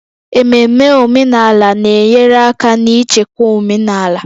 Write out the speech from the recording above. Ememe omenala na-enyere aka n'ichekwa omenala omenala